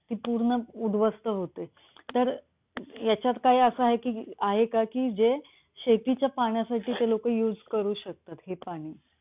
नदीखोऱ्यामध्ये सातत्याने दृष्टीय जन आणि भूजल याचे एका ठिकाणाहून दुसऱ्या ठिकाणी वहन होत असते. कालांतराने पाणी सागराला मिळते.